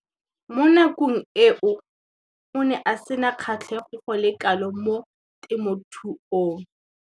Mo nakong eo o ne a sena kgatlhego go le kalo mo temothuong.